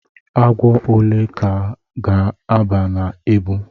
Agwọ ole ka ga-aba na ebu?